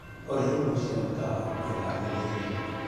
Olĩ imwe cia mĩkawa hakuhĩ naniĩ nĩ ĩrĩkũ ?